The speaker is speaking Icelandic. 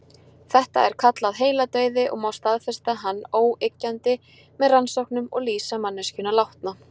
Þetta er kallað heiladauði og má staðfesta hann óyggjandi með rannsóknum og lýsa manneskjuna látna.